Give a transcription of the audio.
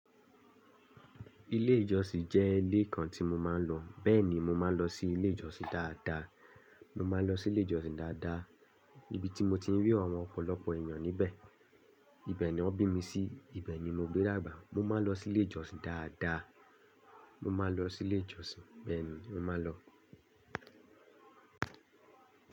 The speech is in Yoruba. Ilé ìjọsìn jẹ́ ilé kan tí mo máa ń lọ. Bẹ́ẹ̀ ni, mo máa ń lọ sí ilé ìjọsìn dáadáa. Mo máa ń lọ sí ilé ìjọsìn dáadáa, níbi tí mo ti ń rí àwọn ọ̀pọ̀lọpọ̀ èèyàn níbẹ̀. Ibẹ̀ ni wọ́n bí mi sí, ibẹ̀ ni mo gbé dàgbà. Mo máa ń lọ sí ilé ìjọsìn dáadáa. Mo máa lọ sí ilé ìjọsìn, bẹ́ẹ̀ ni, mo máa lọ.